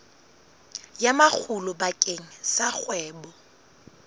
ya makgulo bakeng sa kgwebo